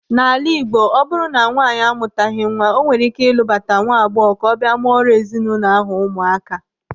In Igbo land when a woman has no child, she can marry a younger woman to live with her and produce children for the family.